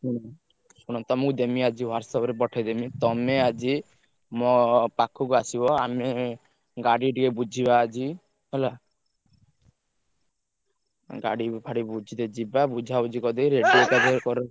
ହୁଁ ଶୁଣ ତମୁକୁ ଦେମି ଆଜି WhatsApp ରେ ପଠେଇଦେମି, ତମେ ଆଜି ମୋ ~ପା ~ଖୁକୁ ଆସିବ, ଆମେ ଗାଡି ଟିକେ ବୁଝିବା ଆଜି ହେଲା, ଗାଡି ଫାଡି ବୁଝିତେ ଯିବା, ବୁଝାବୁଝି କରିଦେବି ।